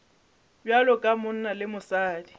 bjalo ka monna le mosadi